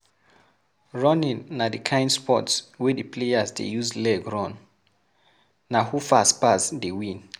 Running na di kind sport wey di players de use leg run, na who fast pass dey win